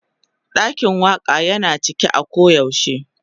Dakin Waka Yana a cike a koyaushe.